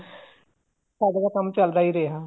ਸਾਡਾ ਤਾਂ ਕੰਮ ਚੱਲਦਾ ਹੀ ਰਿਹਾ